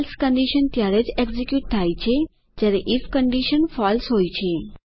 else condition ત્યારે જ execute થાય છે જયારે આઇએફ કન્ડીશન ફળસે હોય છે